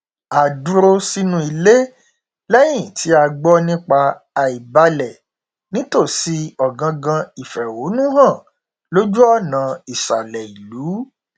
a dúró sínú ilé lẹyìn tí a gbọ nípa àìbalẹ nítòsí ọgangan ìfẹhónúhàn lójú ọnà ìsàlẹ ìlú